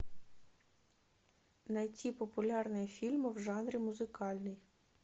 найти популярные фильмы в жанре музыкальный